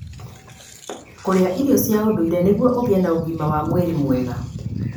kũrĩa irio cia ũndũire nĩguo ũgĩe na ũgima wa mwĩrĩ mwega.